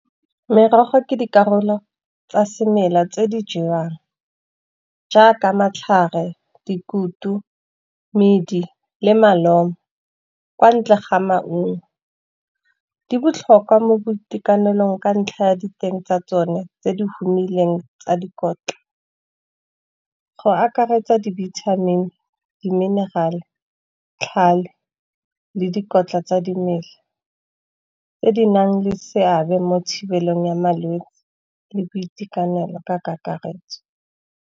Merogo ke dikarolo tsa semela tse di jewang, jaaka matlhare, dikutu, medi le malomo, kwa ntle ga maungo. Di botlhokwa mo boitekanelong ka ntlha ya diteng tsa tsone tse di humileng tsa dikotla. Go akaretsa di-vitamin-i, di-mineral-e, tlhale le dikotla tsa dimela, tse di nang le seabe mo thibelong ya malwetsi, le boitekanelo ka kakaretso.